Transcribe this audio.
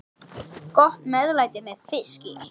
Gott meðlæti með fiski.